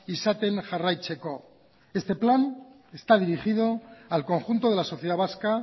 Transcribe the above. izaten jarraitzeko este plan está dirigido al conjunto de la sociedad vasca